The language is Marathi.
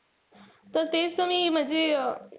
त तेच त मी म्हणजे,